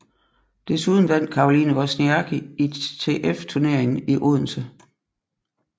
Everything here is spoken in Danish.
Desuden vandt Caroline Wozniacki ITF turneringen i Odense